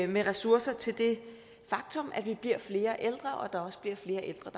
med ressourcer til det faktum at vi bliver flere ældre og at der også bliver flere ældre